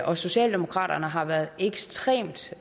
og socialdemokraterne har været ekstremt